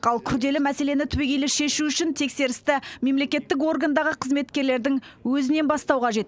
ал күрделі мәселені түбегейлі шешу үшін тексерісті мемлекеттік органдағы қызметкерлердің өзінен бастау қажет